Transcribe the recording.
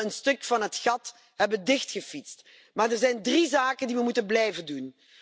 Dat we een stuk van het gat hebben gedicht. Maar er zijn drie zaken die we moeten blijven doen.